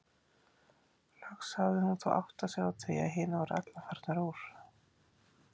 Loks hafði hún þó áttað sig á því að hinar voru allar farnar upp úr.